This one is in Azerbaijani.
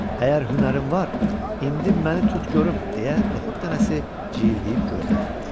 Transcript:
Əgər hünərin var, indi məni tut görüm, deyə noxud dənəsi cildiyib gözdən itdi.